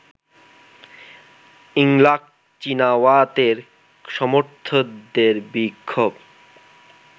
Yingluck চিনাওয়াতের সমর্থকদের বিক্ষোভ